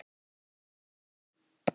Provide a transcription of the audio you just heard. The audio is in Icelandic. Þeir skutu hann